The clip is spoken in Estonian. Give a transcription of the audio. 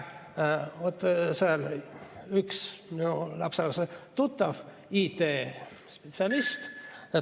Seal on üks minu lapselapse tuttav IT-spetsialist.